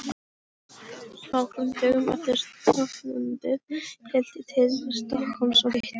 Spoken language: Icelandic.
Nokkrum dögum eftir stofnfundinn hélt ég til Stokkhólms og hitti